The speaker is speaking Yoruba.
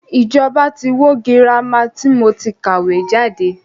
Ìjọba tí wó girama tí mo ti kàwé jáde.